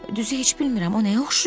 Düzü heç bilmirəm o nəyə oxşayır.